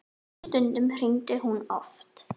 Stundum hringdi hún oft.